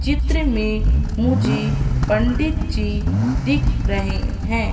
चित्र में मुझे पंडित जी दिख रहे है।